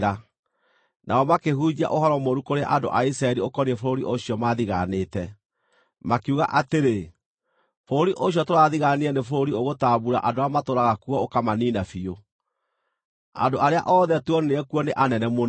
Nao makĩhunjia ũhoro mũũru kũrĩ andũ a Isiraeli ũkoniĩ bũrũri ũcio maathigaanĩte. Makiuga atĩrĩ, “Bũrũri ũcio tũrathigaanire nĩ bũrũri ũgũtambuura andũ arĩa matũũraga kuo ũkamaniina biũ. Andũ arĩa othe tuonire kuo nĩ anene mũno.